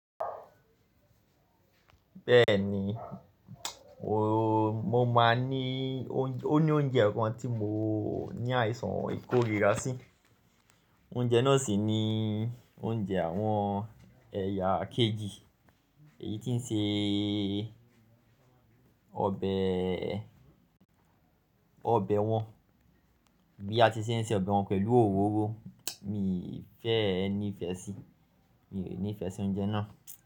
Bẹ́ẹ̀ni, mo máa ní, ó ní oúnjẹ kan tí mo ní àìsàn ìkórìíra sí, oúnjẹ náà sì ni oúnjẹ àwọn ẹ̀yà kejì èyí tí ń se ọbẹ̀, ọbẹ̀ wọn bí a ti se ń se ọbẹ̀ wọn pẹ̀lú òróró, mi fẹ́ ẹ ní ìfẹ́ sí, mi ò ní ìfẹ́ sí oúnjẹ náà.